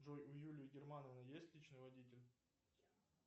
джой у юлии германовны есть личный водитель